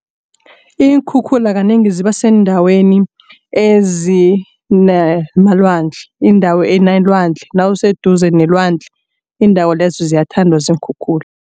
Iinkhukhula kanengi ziba seendaweni ezinamalwandle. Indawo enelwandle nawuseduze nelwandle iindawo lezo ziyathandwa ziinkhukhula.